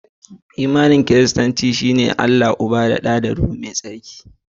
Imani na Kiristanci a cikin "Triniti" mai tsarki. Allah Uba, Allah Ɗa da Allah Ruhu Mai Tsarki